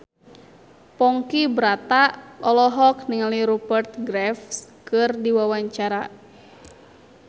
Ponky Brata olohok ningali Rupert Graves keur diwawancara